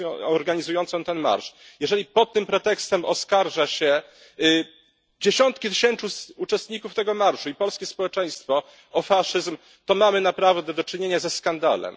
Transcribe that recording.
organizującą ten marsz, jeżeli pod tym pretekstem oskarża się dziesiątki tysięcy uczestników tego marszu i polskie społeczeństwo o faszyzm, to mamy naprawdę do czynienia ze skandalem.